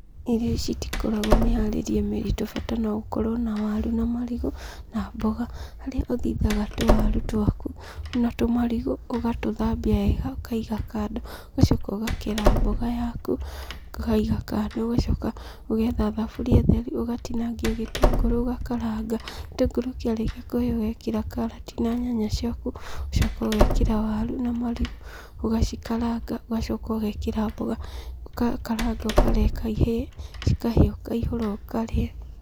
Irio ici itikoragwo mĩharĩrĩe mĩritũ bata no ũkorwo na waru na marigũ, na mboga. Harĩa ũthithaga tũwaru twaku, na tũmarigũ, ũgatũthambia wega, ũkaiga kando. Ũgacoka ũgakera mboga yaku, ũkaiga kando, ũgacoka ũgetha thaburia theru, ũgatinangia gĩtũngũrũ ũgakaranga. Gĩtũngũrũ kĩarĩkia kũhĩa ũgekĩra karati na nyanya ciaku, ũgacoka ũgekĩra waru na marigũ, ũgacikaranga, ũgacoka ũgekĩra mboga, ũgakaranga, ũkareka ihĩe, cikahĩa ũkaihũra ũkarĩa.